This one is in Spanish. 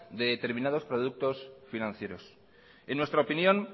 de determinados productos financieros en nuestra opinión